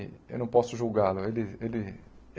Eu não posso julgá-lo. Ele ele